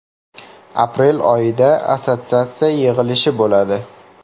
Aprel oyida assotsiatsiya yig‘ilishi bo‘ladi.